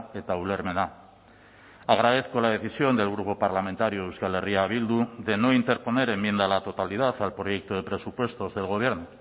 eta ulermena agradezco la decisión del grupo parlamentario euskal herria bildu de no interponer enmienda a la totalidad al proyecto de presupuestos del gobierno